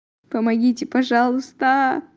помогите пожалуйста